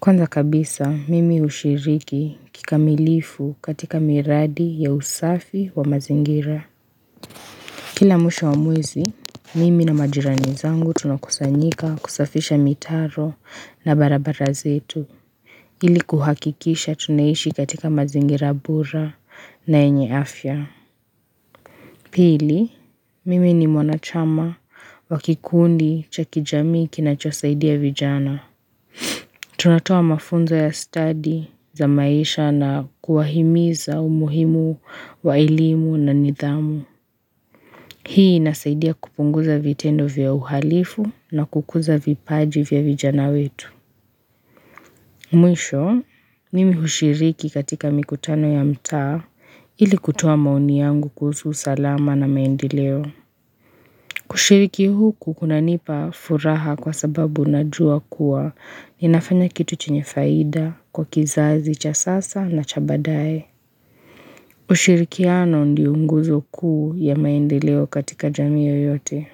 Kwanza kabisa mimi ushiriki kikamilifu katika miradi ya usafi wa mazingira Kila mwisho wa mwezi mimi na majirani zangu tunakusanyika kusafisha mitaro na barabara zetu Ili kuhakikisha tunaishi katika mazingira bora na yenye afya. Pili, mimi ni mwanachama wa kikundi chaki jamii kinacho saidia vijana. Tunatoa mafunzo ya study za maisha na kuwahimiza umuhimu wa elimu na nidhamu. Hii nasaidia kupunguza vitendo vya uhalifu na kukuza vipaji vya vijana wetu. Mwisho, mimi hushiriki katika mikutano ya mtaa ili kutoa maoni yangu kuhusu usalama na maendeleo. Kushiriki huku kunanipa furaha kwa sababu najua kuwa ninafanya kitu chenye faida kwa kizazi cha sasa na cha baadaye. Hushirikiano ndio nguzo kuu ya maendeleo katika jamii yoyote.